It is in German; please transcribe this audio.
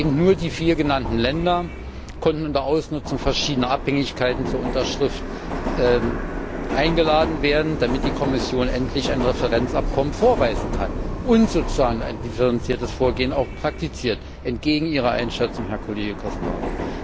Eben nur die vier genannten Länder konnten unter Ausnutzung verschiedener Abhängigkeiten zur Unterschrift eingeladen werden, damit die Kommission endlich ein Referenzabkommen vorweisen kann und sozusagen auch ein differenziertes Vorgehen praktiziert, entgegen Ihrer Einschätzung, Herr Kollege Caspary.